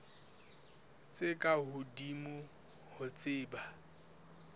tse ka hodimo ho tse